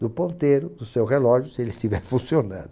do ponteiro, do seu relógio, se ele estiver funcionando.